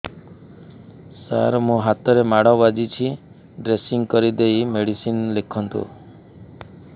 ସାର ମୋ ହାତରେ ମାଡ଼ ବାଜିଛି ଡ୍ରେସିଂ କରିଦେଇ ମେଡିସିନ ଲେଖନ୍ତୁ